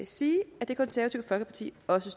sige at det konservative folkeparti også